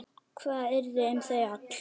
Hvað yrði um þau öll?